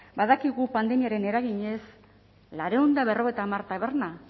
badakigu pandemiaren eraginez laurehun eta berrogeita hamar taberna